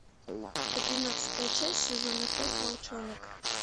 одиннадцатая часть сезона пять волчонок